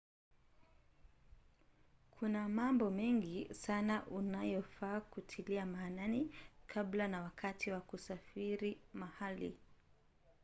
kuna mambo mengi sana unayofaa kutilia maanani kabla na wakati wa kusafiri mahali